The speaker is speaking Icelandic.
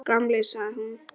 Takk, gamli, sagði hún.